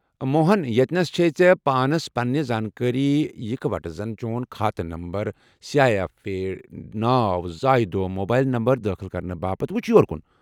موہن، ییٚتنس چھےٚ ژےٚ پانس پننہِ زانكٲری یِکہ وَٹہٕ زن چون كھاتہٕ number, C I F ID, ناو ، زایہ دۄہ موبایل نمبر دٲخل كرنہٕ باپت وُچھ یور كُن ۔